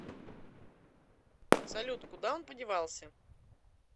салют куда он подевался